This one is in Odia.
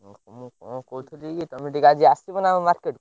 ମୁଁ କଣ କହୁଥିଲି କି ତମେ ଟିକେ ଆଜି ଆସିବନା market କୁ?